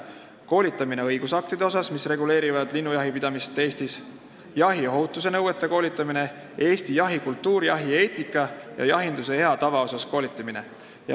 Koolitusel käsitletakse õigusakte, mis reguleerivad linnujahipidamist Eestis, jahiohutuse nõudeid, Eesti jahikultuuri, jahieetikat ja jahinduse head tava.